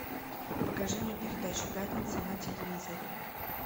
покажи мне передачу пятница на телевизоре